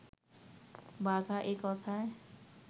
বাঘা এ কথায়